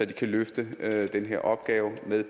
de kan løfte den her opgave med